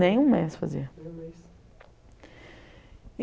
Nem um mês fazia. Nem um mês?